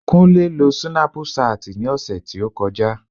Kúnlé lo súnápù ṣáàtì ní ọ̀sẹ̀ tí ó kọjá